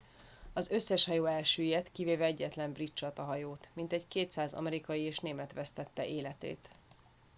az összes hajó elsüllyedt kivéve egyetlen brit csatahajót mintegy 200 amerikai és német vesztette életét